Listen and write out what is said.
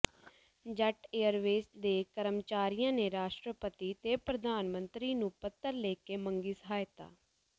jet Airways ਦੇ ਕਰਮਚਾਰੀਆਂ ਨੇ ਰਾਸ਼ਟਰਪਤੀ ਤੇ ਪ੍ਰਧਾਨ ਮੰਤਰੀ ਨੂੰ ਪੱਤਰ ਲਿਖ ਕੇ ਮੰਗੀ ਸਹਾਇਤਾ